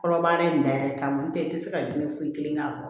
Kɔrɔbayara i da yɛrɛ kama n'o tɛ i tɛ se ka diinɛ foyi kelen k'a kɔrɔ